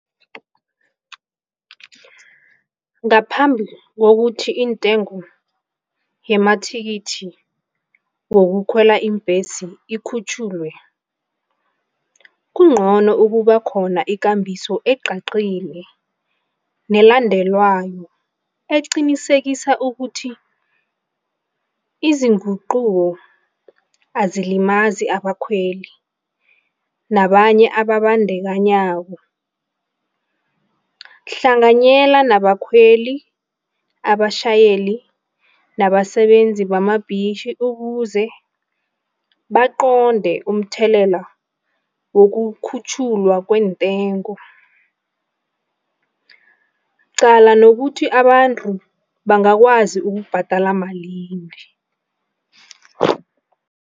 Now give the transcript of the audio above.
Ngaphambi kokuthi intengo yamathikithi wokukhwela iimbhesi ikhutjhulwe, kungcono ukuba khona ikambiso ecacile nelandelwako, eqinisekisa ukuthi izinguquko azilimazi abakhweli nabanye abazibandakanyako. Hlanganyela nabakhweli, abatjhayeli nabasebenzi bamabhizinisi ukuze baqonde umthelela wokukhutjhulwa kwentengo qala nokuthi abantu bangakwazi ukubhadala malini.